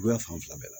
A fan fila bɛɛ la